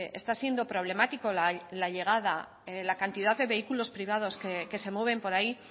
está siendo problemático la llegada la cantidad de vehículos privados que se mueven por ahí